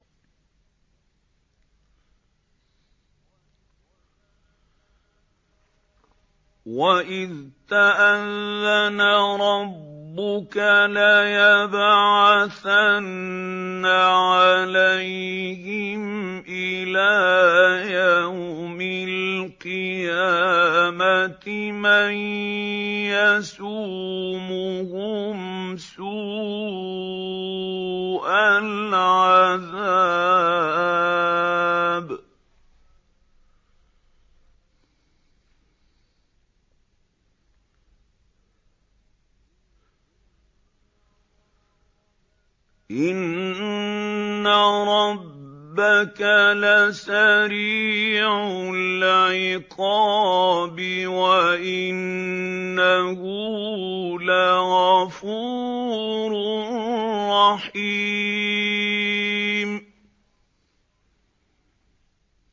وَإِذْ تَأَذَّنَ رَبُّكَ لَيَبْعَثَنَّ عَلَيْهِمْ إِلَىٰ يَوْمِ الْقِيَامَةِ مَن يَسُومُهُمْ سُوءَ الْعَذَابِ ۗ إِنَّ رَبَّكَ لَسَرِيعُ الْعِقَابِ ۖ وَإِنَّهُ لَغَفُورٌ رَّحِيمٌ